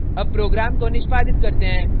अब program को निष्पादित करते हैं